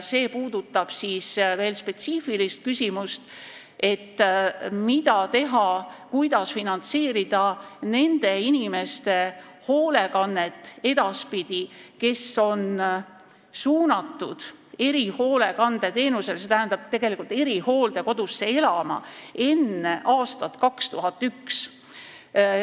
See puudutab spetsiifilist küsimust, mida teha, kuidas edaspidi finantseerida nende inimeste hoolekannet, kes on suunatud erihoolekandeteenust saama, st tegelikult erihooldekodusse elama, enne aastat 2001.